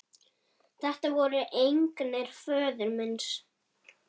Þetta voru eignir föður míns.